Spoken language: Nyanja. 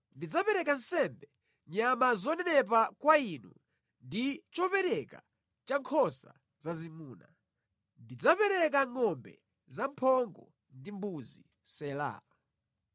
Ndidzapereka nsembe nyama zonenepa kwa Inu ndi chopereka cha nkhosa zazimuna; ndidzapereka ngʼombe zamphongo ndi mbuzi. Sela